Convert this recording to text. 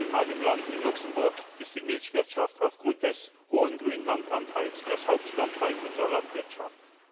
Auch in meinem Land, in Luxemburg, ist die Milchwirtschaft aufgrund des hohen Grünlandanteils das Hauptstandbein unserer Landwirtschaft.